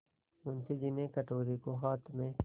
मुंशी जी ने कटोरे को हाथ में